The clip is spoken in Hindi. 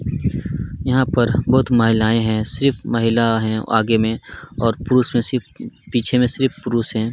यहाँ पर बहुत महिलाए है सिर्फ महिला है और आगे में और पीछे में सिर्फ पीछे में पुरुष है।